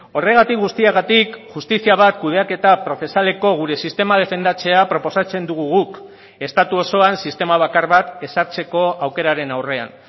horregatik guztiagatik justizia bat kudeaketa prozesaleko gure sistema defendatzea proposatzen dugu guk estatu osoan sistema bakar bat ezartzeko aukeraren aurrean